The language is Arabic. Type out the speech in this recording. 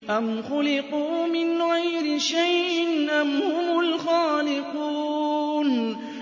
أَمْ خُلِقُوا مِنْ غَيْرِ شَيْءٍ أَمْ هُمُ الْخَالِقُونَ